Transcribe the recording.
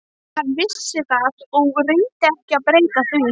Hann vissi það og reyndi ekki að breyta því.